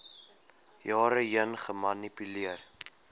jare heen gemanipuleer